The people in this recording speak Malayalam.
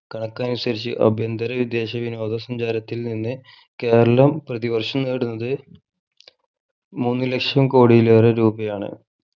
കണക്കനുസരിച്ച് അഭ്യന്തര വിദേശ വിനോദ സഞ്ചാരത്തിൽ നിന്ന് കേരളം പ്രതി വർഷം നേടുന്നത് മൂന്ന് ലക്ഷം കോടിയിലേറെ രൂപയാണ്